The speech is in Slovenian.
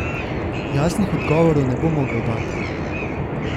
Jasnih odgovorov ne bo mogel dati.